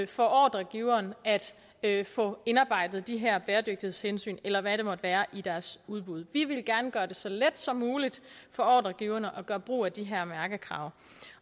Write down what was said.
for ordregiveren at få indarbejdet de her bæredygtighedshensyn eller hvad det måtte være i deres udbud vi ville gerne gøre det så let som muligt for ordregiverne at gøre brug af de her mærkekrav